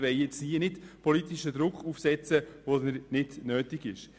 Wir wollen nicht an einem Ort politischen Druck aufsetzen, wo dies nicht nötig ist.